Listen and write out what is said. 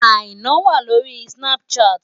Àìná wà lórí Snapchat.